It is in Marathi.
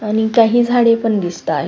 आणि काही झाडे पण दिसताय.